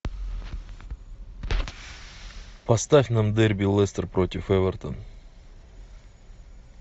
поставь нам дерби лестер против эвертон